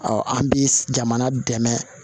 an bi jamana dɛmɛ